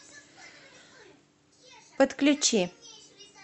подключи